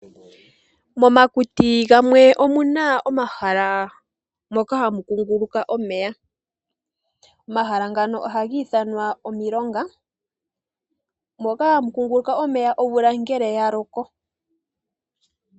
Momakuti gamwe omuna omahala mpoka hapu kunguluka omeya. Omahala ngano oha giithanwa omilonga moka hamu kunguluka omeya ngele omvula yaloko.